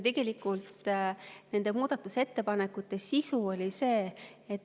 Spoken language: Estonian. Tegelikult nende muudatusettepanekute sisu on see.